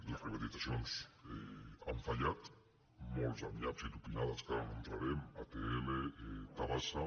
les privatitzacions han fallat moltes amb nyaps i tupinades en què ara no entrarem atll tabasa